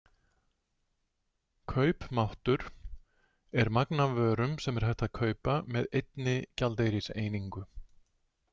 Kaupmáttur er magn af vörum sem er hægt að kaupa með einni gjaldeyriseiningu.